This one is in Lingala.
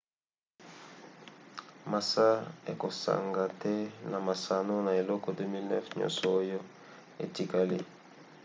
massa akosanga te na masano na eleko 2009 nyonso oyo etikali